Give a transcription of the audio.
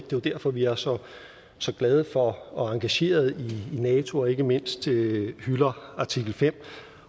jo derfor vi er så så glade for og engageret i nato og ikke mindst hylder artikel femte